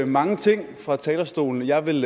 mange ting fra talerstolen og jeg vil